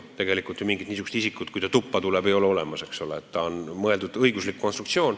Tegelikult ju mingit niisugust isikut, kes tuppa tuleb, olemas ei ole, ta on õiguslik konstruktsioon.